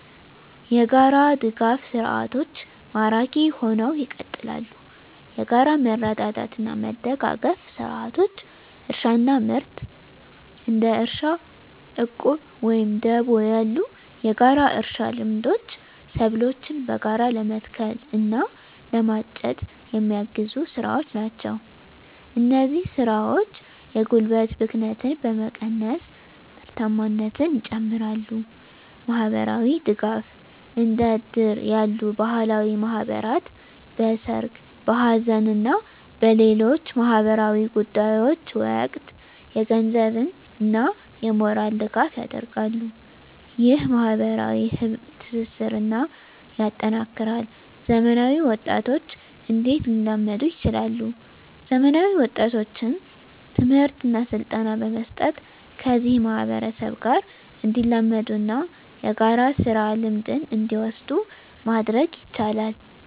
**የጋራ ድጋፍ ሰርዓቶች ማራኪ ሁነው ይቀጥላሉ፤ የጋራ መረዳዳትና መደጋገፍ ስርዓቶች: * እርሻና ምርት: እንደ እርሻ ዕቁብ ወይም ደቦ ያሉ የጋራ እርሻ ልምዶች ሰብሎችን በጋራ ለመትከል እና ለማጨድ የሚያግዙ ስራዎች ናቸው። እነዚህ ስራዎች የጉልበት ብክነትን በመቀነስ ምርታማነትን ይጨምራሉ። * ማህበራዊ ድጋፍ: እንደ እድር ያሉ ባህላዊ ማህበራት በሠርግ፣ በሐዘን እና በሌሎች ማኅበራዊ ጉዳዮች ወቅት የገንዘብና የሞራል ድጋፍ ያደርጋሉ። ይህ ማኅበራዊ ትስስርን ያጠናክራል። *ዘመናዊ ወጣቶች እንዴት ሊላመዱ ይችላሉ፤ ዘመናዊ ወጣቶችን ትምህርትና ስልጠና በመስጠት ከዚህ ማህበረሰብ ጋር እንዲላመዱና የጋራ ስራ ልምድን እንዲወስዱ ማድረግ ይቻላል።